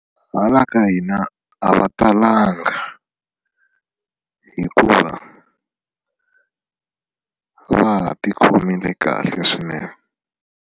Hala ka hina a va talanga hikuva va ha ti khomile kahle swinene.